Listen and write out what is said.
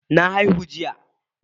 Na haihu jiya.